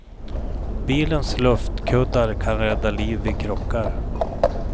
Bilens luftkuddar kan rädda liv vid krockar.